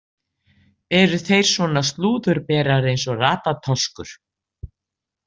Eru þeir svona slúðurberar eins og Ratatoskur?